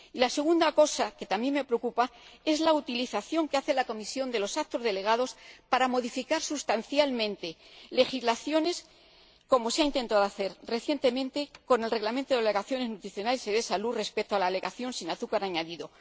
Y la segunda cosa, que también me preocupa, es la utilización que hace la Comisión de los actos delegados para modificar sustancialmente legislaciones, como se ha intentado hacer recientemente con el Reglamento relativo a las declaraciones nutricionales y de propiedades saludables respecto a la declaración sin azúcar añadido.